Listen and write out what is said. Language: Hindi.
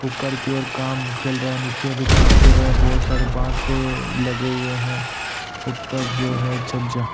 ऊपर की ओर काम चल रहा है नीचे भी काम चल रहा है बहुत सारे बास से लगे हुए हैं ऊपर जो है छज्जा --